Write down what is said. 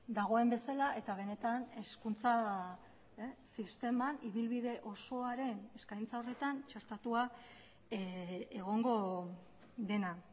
dagoen bezala eta benetan hezkuntza sisteman ibilbide osoaren eskaintza horretan txertatua egongo dena